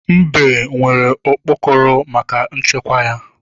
Mbe nwere okpokoro maka nchekwa ya.